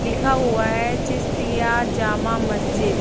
लिखा हुआ है चिशतिया जाँमा मस्जिद।